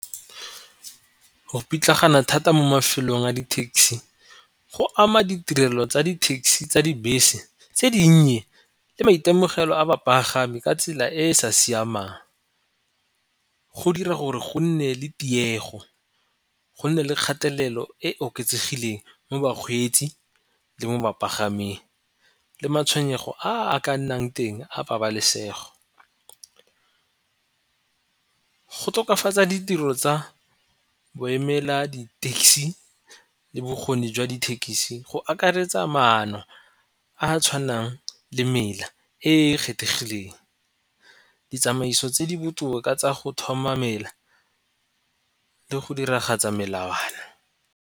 Go pitlagana thata mo mafelong a dithekisi go ama ditirelo tsa dithekisi tsa dibese tse dinnye le maitemogelo a bapagami ka tsela e e sa siamang. Go dira gore go nne le tiego, go nne le kgatelelo e oketsegileng mo bakgweetsi, le mo bapagaming le matshwenyego a ka nnang teng a pabalesego. Go tokafatsa ditiro tsa bo emela di-taxi le bokgoni jwa dithekisi go akaretsa maano a tshwanang le mela e e kgethegileng ditsamaiso tse di botoka tsa go thoma mela le go diragatsa melawana.